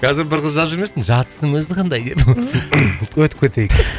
қазір бір қыз жазып жүрмесін жатыстың өзі қандай деп өтіп кетейік